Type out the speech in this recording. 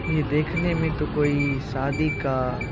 ये देखने मे तो कोई सादी का--